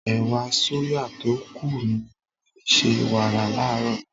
Ẹ̀wà sóyà tó kù ni mo fi ṣe wàrà láàárọ̀.